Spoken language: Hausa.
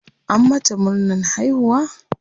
An mata murnan haihuwa?